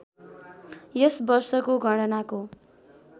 यस वर्षको गणनाको